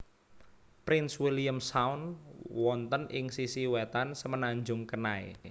Prince William Sound wonten ing sisi wetan Semenanjung Kenai